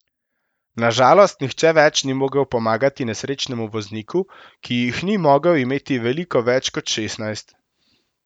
Na žalost nihče več ni mogel pomagati nesrečnemu vozniku, ki jih ni mogel imeti veliko več kot šestnajst.